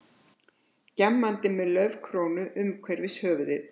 Gjammandi með laufkrónu umhverfis höfuðið.